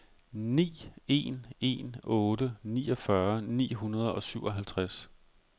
ni en en otte niogfyrre ni hundrede og syvoghalvtreds